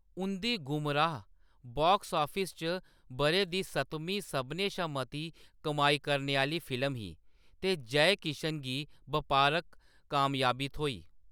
उंʼदी Gumraah box office च बʼरे दी सतमीं सभनें शा मती कमाई करने आह्‌‌‌ली फिल्म ही, ते जय किशन गी बपारक कामयाबी थ्होई।